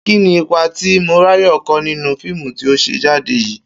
Kí ni ipa tí Máyò̩wá kó nínú fíìmù tí ó s̩è̩ jáde yìí?